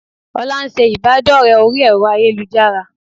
Olá ńṣe ìbádọ́rẹ̀ẹ́ orí ẹ̀rọ ayélujára